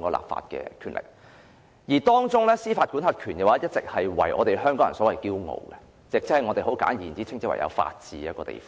的立法權力，而當中司法管轄權令香港人引以自豪，我們稱香港為法治之地。